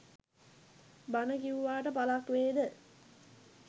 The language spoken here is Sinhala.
බණ කියුවාට පලක් වේද?